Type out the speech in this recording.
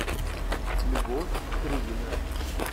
любовь крыгина